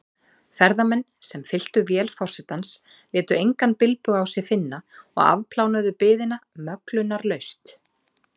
Ferðamenn, sem fylltu vél forsetans, létu engan bilbug á sér finna og afplánuðu biðina möglunarlaust.